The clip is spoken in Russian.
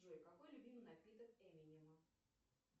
джой какой любимый напиток эминема